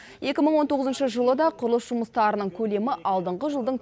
екі мың он тоғызыншы жылы да құрылыс жұмыстарының көлемі алдыңғы жылдың